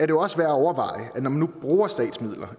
jo også når man nu bruger statsmidler